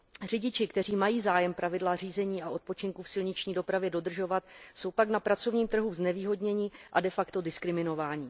Řidiči, kteří mají zájem pravidla řízení a odpočinku v silniční dopravě dodržovat, jsou pak na pracovním trhu znevýhodněni a de facto diskriminováni.